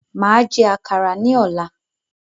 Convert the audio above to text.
Máa jẹ àkàrà ni ọ̀la